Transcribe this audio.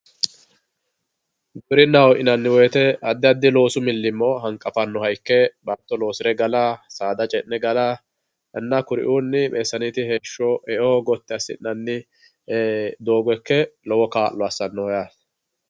Giwirinaho yinanni woyite adi adi loosu milimo hanqafannoha ikke baato loosire gala saada ce'ne galana kuriuunni beetesewete heesho e'o gotti asinanni doogo ikke lowo kaalo assano yaate